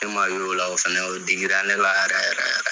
E man ye o la o fɛnɛ o digira ne la yɛrɛ yɛrɛ.